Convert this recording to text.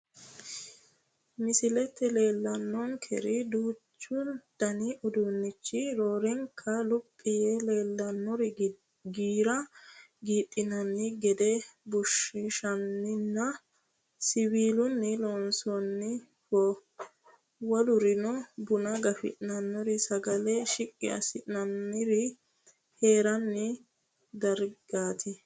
Misilette leellanonkeri duuchu danni uduuneetti roorenkanni luphi yee leellannori giira giidhinanni gede bushshuniinna siwiilunni loonsoonniho wolurino buna gafi'nannirinna sagale qishi'nannire hiranni darigaatti